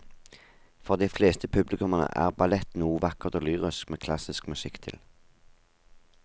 For de fleste publikummere er ballett noe vakkert og lyrisk med klassisk musikk til.